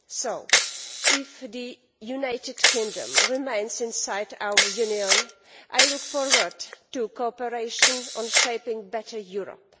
So if the United Kingdom remains inside our Union, I look forward to cooperation on shaping a better Europe.